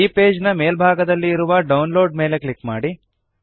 ಈ ಪೇಜ್ ನ ಮೇಲ್ಭಾಗದಲ್ಲಿ ಇರುವ ಡೌನ್ಲೋಡ್ ಮೇಲೆ ಕ್ಲಿಕ್ ಮಾಡಿ